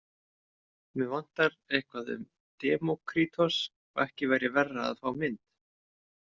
Mig vantar eitthvað um Demókrítos og ekki væri verra að fá mynd.